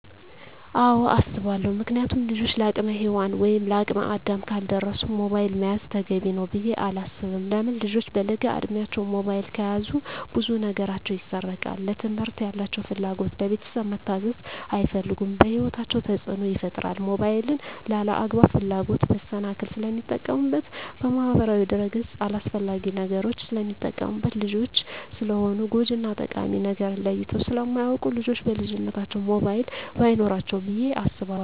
አወ አሰባለው ምክንያቱም ልጆች ለአቅመ ሄዋን ወይም ለአቅመ አዳም ካልደረሱ ሞባይል መያዝ ተገቢ ነው ብዬ አላስብም። ለምን ልጆች በለጋ እድማቸው ሞባይል ከያዙ ብዙ ነገራቸው ይሰረቃል ለትምህርት ያላቸው ፍላጎት, ለቤተሰብ መታዘዝ አይፈልጉም በህይወታቸው ተፅዕኖ ይፈጥራል ሞባይልን ለአላግባብ ፍላጎት መሰናክል ስለሚጠቀሙበት በማህበራዊ ድረ-ገፅ አላስፈላጊ ነገሮች ስለሚጠቀሙበት። ልጆች ስለሆኑ ጎጅ እና ጠቃሚ ነገርን ለይተው ስለማያወቁ ልጆች በልጅነታቸው ሞባይል በይኖራቸው ብዬ አስባለሁ።